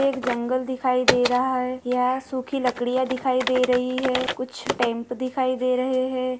एक जंगल दिखाई दे रहा है। यहा सुखी लकड़िया दिखाई दे रही है। कुछ टेंट दिखाई दे रहे है।